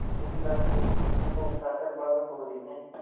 इस ढंग से इस विषय को उठा कर भानुकुँवरि ने